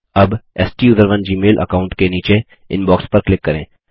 अब स्टूसरोन Gmail account के नीचे इनबॉक्स पर क्लिक करें